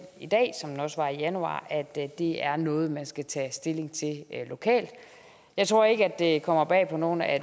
også var i januar at det er noget man skal tage stilling til lokalt jeg tror ikke at det kommer bag på nogen at